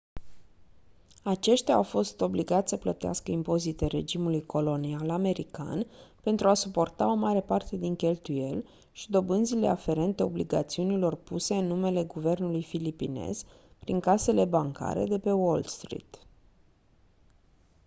aceștia au fost obligați să plătească impozite regimului colonial american pentru a suporta o mare parte din cheltuieli și dobânzile aferente obligațiunilor puse în numele guvernului filipinez prin casele bancare de pe wall street